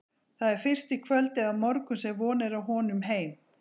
Það er fyrst í kvöld eða á morgun sem von er á honum heim.